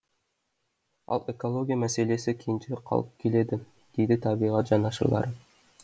ал экология мәселесі кенже қалып келеді дейді табиғат жанашырлары